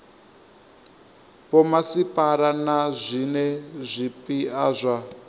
vhomasipala na zwiwe zwipia zwa